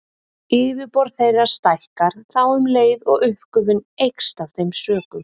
Yfirborð þeirra stækkar þá um leið og uppgufun eykst af þeim sökum.